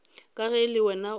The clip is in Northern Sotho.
ka ge le wena o